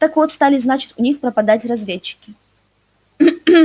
так вот стали значит у них пропадать разведчики